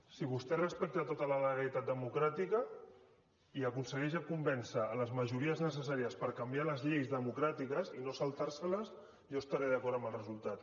si vostè respecta tota la legalitat democràtica i aconsegueix convèncer les majories necessàries per canviar les lleis democràtiques i no saltar se les jo estaré d’acord amb el resultat